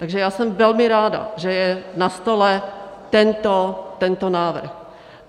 Takže já jsem velmi ráda, že je na stole tento návrh.